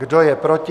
Kdo je proti?